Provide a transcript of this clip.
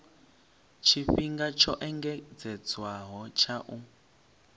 tshifhinga tsho engedzedzwaho tsha u